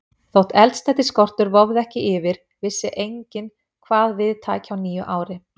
Þótt eldsneytisskortur vofði ekki yfir, vissi enginn, hvað við tæki á nýju ári.